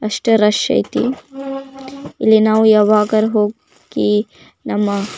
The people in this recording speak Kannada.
ಅಷ್ಟೇ ರಶ್ ಅಯ್ತಿ. ಇಲ್ಲಿ ನವು ಯಾವಾಗರ ಹೋಗಿ ನಮ್ಮ --